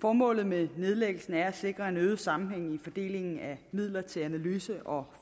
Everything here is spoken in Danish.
formålet med nedlæggelsen er at sikre en øget sammenhæng i fordelingen af midler til analyse og